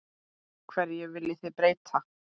Hverju viljið þið breyta?